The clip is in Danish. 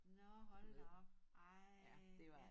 Nå hold da op ej ja